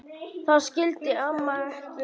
Það skildi amma ekki.